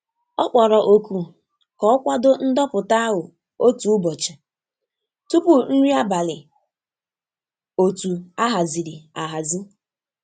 Ọ kpọrọ oku ka ọ kwado ndoputa ahụ otu ụbọchị tupu nri abalị otu a haziri ahazi.